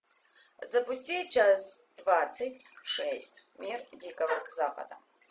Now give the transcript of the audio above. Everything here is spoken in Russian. запусти часть двадцать шесть мир дикого запада